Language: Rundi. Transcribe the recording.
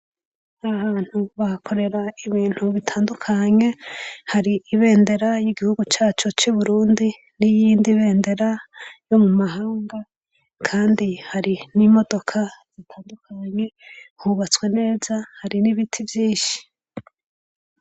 Aho abantu bakorera ibintu bitandukanye, hari ibendera ry'igihugu cacu c'Uburundi niyindi bendera yo mu mahanga kandi hari n'imodoka zitandukanye hubatswe neza hari n'ibiti vyinshi.